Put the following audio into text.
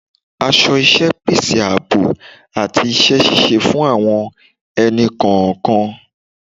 Aso iṣẹ́ pèsè ààbò àti iṣẹ́ ṣíṣe fún àwọn ẹni-kọọkan